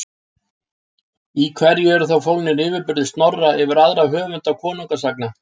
Í hverju eru þá fólgnir yfirburðir Snorra yfir aðra höfunda konungasagna?